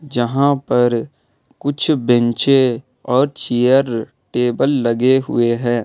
जहां पर कुछ बेंचे और चेयर टेबल लगे हुए हैं।